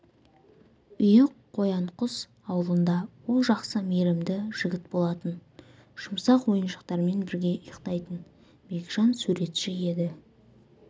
үйі қоянқұс ауылында ол жақсы мейірімді жігіт болатын жұмсақ ойыншықтармен бірге ұйықтайтын бекжан суретші деді